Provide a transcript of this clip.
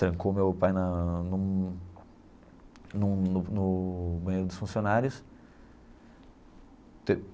Trancou meu pai na num num no no banheiro dos funcionários.